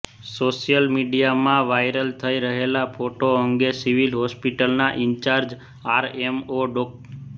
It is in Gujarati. સોશ્યલ મીડિયામાં વાઈરલ થઈ રહેલા ફોટો અંગે સિવિલ હોસ્પિટલના ઈન્ચાર્જ આરએમઓ ડો